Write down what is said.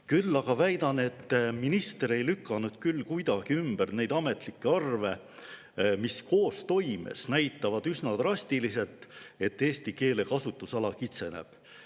Küll aga väidan, et minister ei lükanud kuidagi ümber neid ametlikke arve, mis koostoimes näitavad üsna drastiliselt, et eesti keele kasutusala kitseneb.